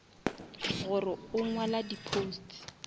gore o ngwala di posts